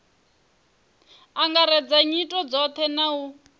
angaredza nyito dzothe na u